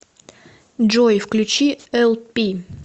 джой включи эл пи